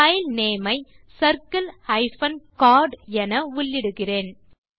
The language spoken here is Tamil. பைல் நேம் ஐ circle கோர்ட் என உள்ளிடுகிறேன்